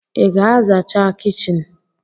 Ị ga zachaa kichin?